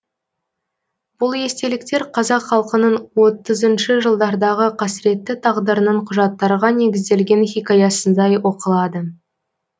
бұл естеліктер қазақ халқының отызыншы жылдардағы қасіретті тағдырының құжаттарға негізделген хикаясындай оқылады